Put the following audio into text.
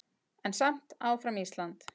En samt áfram Ísland!